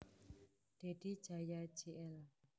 Dedy Jaya Jl